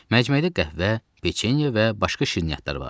Məcməyidə qəhvə, peçeniya və başqa şirniyyatlar vardı.